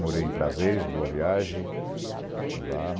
Morei em Prazeres, boa viagem. Lá